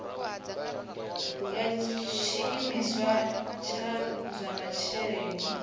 ya tshiimiswa tsha zwa masheleni